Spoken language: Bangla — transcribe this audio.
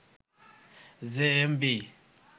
জেএমবি